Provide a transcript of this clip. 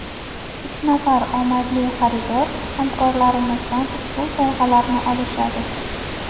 Uch nafar omadli xaridor hamkorlarimizdan ushbu sovg‘alarni olishadi.